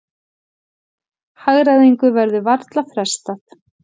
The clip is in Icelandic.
Hagræðingu verður varla frestað